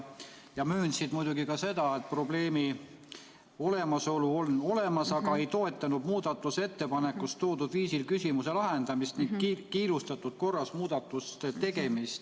Nad möönsid muidugi ka seda, et probleem on olemas, aga ei toetanud muudatusettepanekus toodud viisil küsimuse lahendamist ning kiirustatud korras muudatuste tegemist.